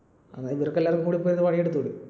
എന്നാൽ ഇവർക്ക് എല്ലാവർക്കും കൂടെ പോയി ഒന്ന് പണി എടുത്തൂടെ?